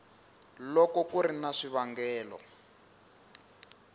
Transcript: loko ku ri na swivangelo